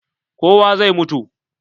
Kowa zai mutu.